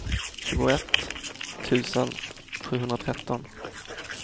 tjugoett tusen sjuhundratretton